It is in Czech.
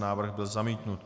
Návrh byl zamítnut.